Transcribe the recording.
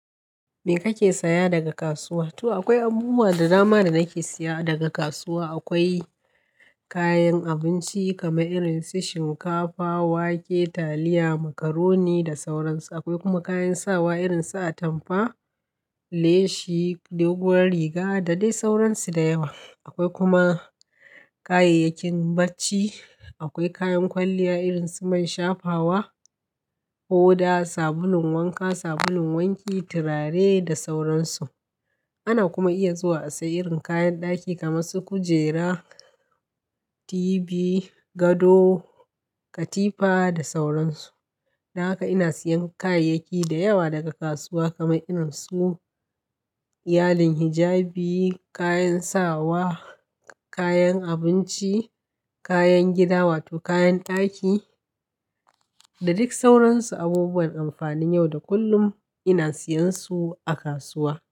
Me kake saya daga kasuwa? To akwai abubuwa da dama da nake siya daga kasuwa. Akwai kayan abinci kamar irin su shinkafa, wake, taliya, macaroni da sauran su. Akwai kuma kayan sawa irin su atamfa, leshi, doguwar riga da dai sauran su da yawa. Akwai kuma kayayyakin bacci. Akwai kayan kwalliya irin su man shafawa, hoda, sabulun wanka, sabulun wanki, tulare da sauransu. Ana kuma iya zuwa a siya irin kayan ɗaki kamar su kujera, TV, gado, katifa da sauran su. Dan ka ina siyan kayayyaki da yawa daga kasuwa kamar irin su iyalin hijabi, kayan sawa, kayan abinci, kayan gida wato kayan ɗaki da duk sauran su. Abubuwan dankwalin yau da kullum ina siyan su a kasuwa.